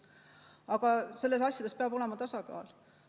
Aga selliste asjades peab olema tasakaal.